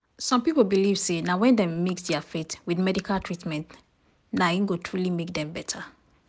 some people believe say na when dem mix dia faith with medical treatment na im dem go truly get beta.